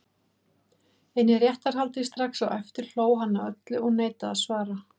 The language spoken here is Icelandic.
En í réttarhaldi strax á eftir hló hann að öllu og neitaði að svara.